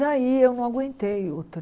Daí eu não aguentei o